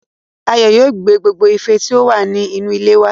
Ayọ̀ yóò mú gbogbo ife tí ó wà ní inú ilé wá